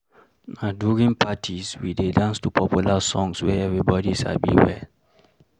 Na during parties, we dey dance to popular songs wey everybody sabi well.